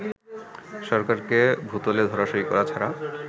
সরকারকে ভূতলে ধরাশায়ী করা ছাড়া